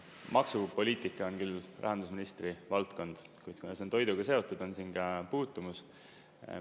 Maksupoliitika on küll rahandusministri valdkond, kuid kuna see on toiduga seotud, on siin ka puutumus.